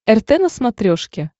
рт на смотрешке